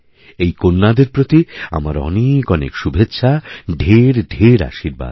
এই কন্যাদের প্রতি আমার অনেকঅনেক শুভেচ্ছা ঢেরঢের আশীর্বাদ